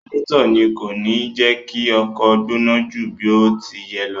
Radiẹ́tọ̀ ni kò kí ń jẹ kí ọkọ̀ ó gbóná ju bí ó ti yẹ lọ.